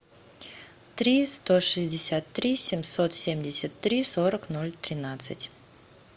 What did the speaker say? три сто шестьдесят три семьсот семьдесят три сорок ноль тринадцать